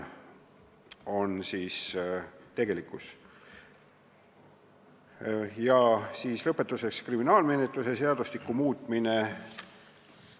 Lõpetuseks kriminaalmenetluse seadustiku muutmisest.